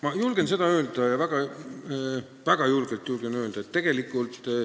Ma julgen seda öelda, ja väga julgelt julgen öelda.